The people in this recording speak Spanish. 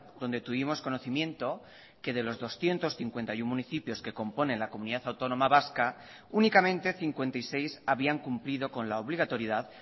donde tuvimos conocimiento que de los doscientos cincuenta y uno municipios que componen la comunidad autónoma vasca únicamente cincuenta y seis habían cumplido con la obligatoriedad